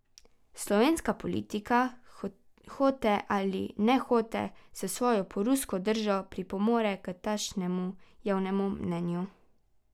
Slovenska politika, hote ali nehote, s svojo prorusko držo pripomore k takšnemu javnemu mnenju.